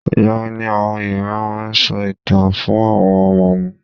Ìgbà wo ni àwọn Yorùbá máa n sọ ìtàn fún àwọn Ọmọ wọn?